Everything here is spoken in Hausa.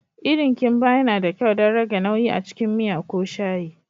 Irin kimba yana da kyau don rage nauyi a cikin miya ko shayi.